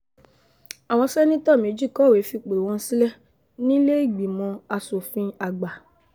àwọn sẹ́́nétò méjì kọ̀wé fipò wọn sílẹ̀ nílẹ̀ẹ́gbìmọ̀ asòfin àgbà